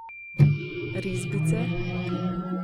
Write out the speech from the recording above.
Risbice?